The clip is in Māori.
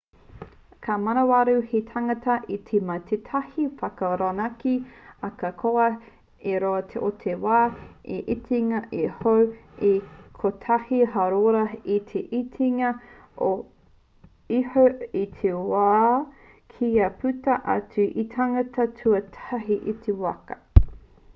ka manawarau te tangata i te mau ki tētahi waka rōnaki ahakoa te roa o te wā i te itinga iho ā kotahi hāora i te itinga iho te wā kia puta atu te tangata tuatahi i te waka